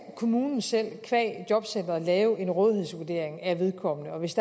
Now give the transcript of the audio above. kommunen selv via jobcentret lave en rådighedsvurdering af vedkommende og hvis